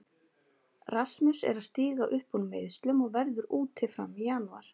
Rasmus er að stíga upp úr meiðslum og verður úti fram í janúar.